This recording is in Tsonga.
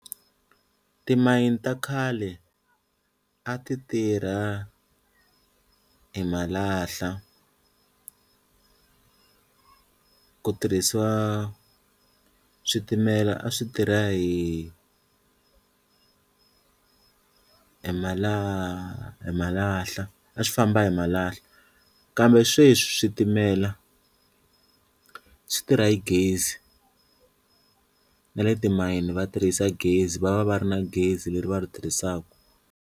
Timayini ta khale a ti tirha hi malahla ku tirhisiwa switimela a swi tirha hi hi malahla a swi famba hi malahla kambe sweswi switimela swi tirha hi gezi na le timayini va tirhisa gezi va va va ri na gezi leri va ri tirhisaka.